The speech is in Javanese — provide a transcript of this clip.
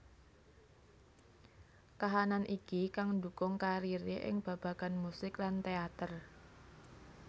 Kahanan iki kang ndhukung kariré ing babagan musik lan téater